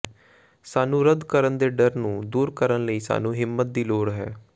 ਸਾਨੂੰ ਰੱਦ ਕਰਨ ਦੇ ਡਰ ਨੂੰ ਦੂਰ ਕਰਨ ਲਈ ਸਾਨੂੰ ਹਿੰਮਤ ਦੀ ਲੋੜ ਹੈ